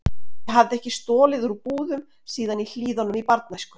Ég hafði ekki stolið úr búðum síðan í Hlíðunum í barnæsku.